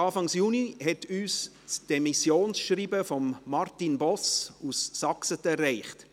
Anfang Juni hat uns das Demissionsschreiben von Martin Boss aus Saxeten erreicht.